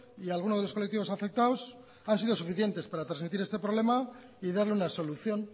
y alguno de los colectivos afectados han sido suficientes para transmitir este problema y darle una solución